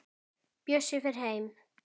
Bjössi fer heim.